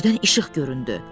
Birdən işıq göründü.